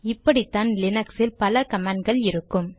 இப்படித்தான் லினக்ஸில் பல கமாண்ட் கள் இருக்கும்